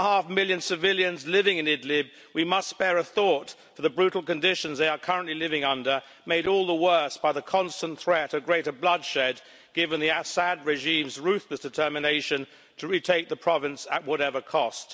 3.5 million civilians living in Idlib, we must spare a thought for the brutal conditions they are currently living under, made all the worse by the constant threat of greater bloodshed given the Assad regime's ruthless determination to retake the province at whatever cost.